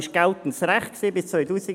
Dies war geltendes Recht bis 2001: